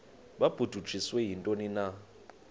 babudunjiswe yintoni na